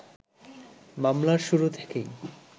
মামলার শুরু থেকেই